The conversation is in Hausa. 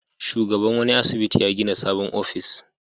Shugaban wani asibiti ya gina sabon ofis.